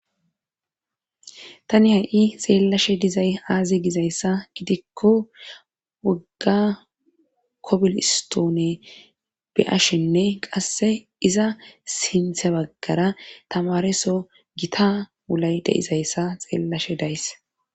Tani ha'i xeellashe dizay aazi gizayssa gidikko wogga kobilistoone bi7ashenne qasse iza sinthe baggara tamareso gita wulay deizayssa xeellashe days.